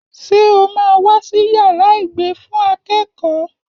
Ṣé o máa wá sí yàrá ìgbé fún akẹ́kọ̀ọ́?